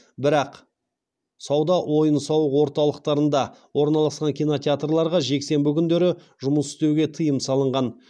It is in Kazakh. бірақ сауда ойын сауық ортатылқтарында орналасқан кинотеатрларға жексенбі күндері жұмыс істеуге тыйым салынған